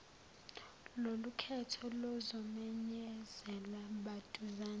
lolukhetho luzomenyezelwa maduzane